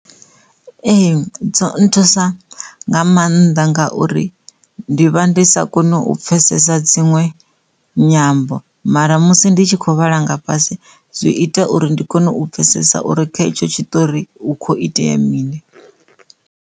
Ee dzo nthusa nga maanḓa ngauri ndi vha ndi sa koni u pfhesesa dziṅwe nyambo mara musi ndi tshi kho vhala nga fhasi zwi ita uri ndi kone u pfhesesa uri kha etsho tshiṱori u kho itea mini.